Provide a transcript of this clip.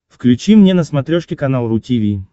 включи мне на смотрешке канал ру ти ви